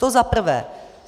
To za prvé.